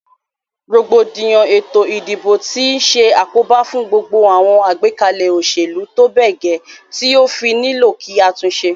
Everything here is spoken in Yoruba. Rògbòdìyàn ètò ìdìbò ti se àkóbá fún gbogbo àwon àgbékalè òsèlú tóbè gè ti ó fí nílò kí a túnse